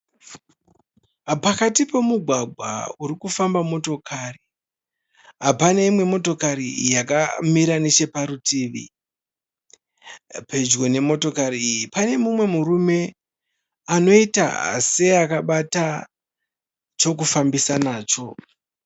Pakati pemugwagwa urikufamba motokari. Pane imwe motokari yakamira necheparutivi. Pedyo nemotokari iyi pane mumwe murume anoita seakabata chokufambisa nacho.